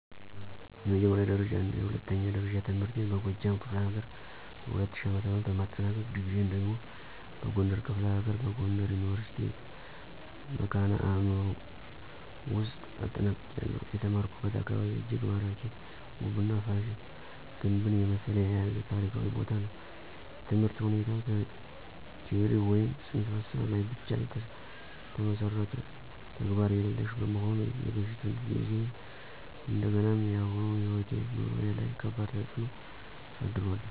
የመጀመሪያ ደረጃና የሁለተኛ ደረጃ ትምህርቴን በጎጃም ክፍለ ሀገር በ2000 ዓ.ም በማጠናቀቅ፤ ዲግሪየን ደግሞ በጎንደር ክፍለ ሀገር በጎንደር ዩኒቨርሲቲ ( መካነ አዕምሮ ) ውውስጥ አጠናቅቄያለሁ። የተማርኩበት አካባቢ እጅግ ማራኪ፣ ውብና ፋሲል ግንብን የመሰለ የያዘ ታሪካዊ ቦታ ነው። የትምህርት ሁኔታው ቲዎሪ ወይም ፅንሰ ሀሳብ ላይ ብቻ የተመሠረተ፣ ተግባር የሌሽ በመሆኑ የበፊቱን ጊዜዬን እንደገናም የአሁኑ ሕይወቴ/ኑሮዬ ላይ ከባድ ተፅእኖ አሳድሯል።